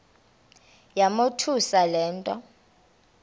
yamothusa le nto